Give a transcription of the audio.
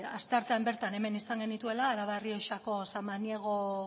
asteartean bertan hemen izan genituela araba errioxako samaniego